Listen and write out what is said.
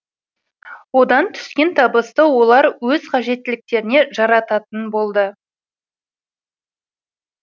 одан түскен табысты олар өз қажеттіліктеріне жарататын болады